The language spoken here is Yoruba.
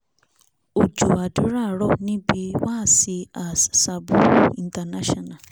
ọjọ́ àdúrà rọ̀ níbi wáàsí as sabuuru international